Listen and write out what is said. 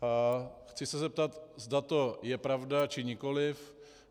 Chci se zeptat, zda to je pravda, či nikoliv.